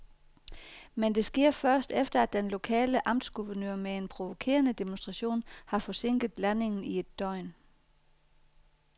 Men det sker først, efter at den lokale amtsguvernør med en provokerende demonstration har forsinket landingen i et døgn.